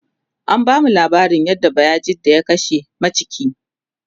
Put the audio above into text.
an bamu laabarin yadda bayajidda ya kashe maciki